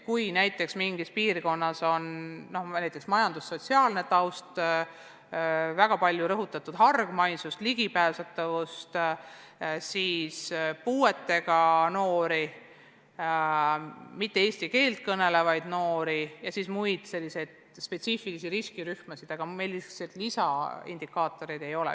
Kui mingis piirkonnas on probleemiks keeruline majandussotsiaalne taust, väga tuntav hargmaisus, halb ligipääsetavus, kui on palju puuetega noori, eesti keelt mittekõnelevaid noori, siis selleks puhuks meil lisaindikaatoreid ei ole.